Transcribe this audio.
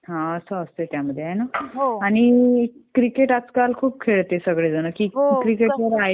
हां. असं असतंय त्यामध्ये ना? आणि क्रिकेट आजकाल खूप खेळते सगळेजण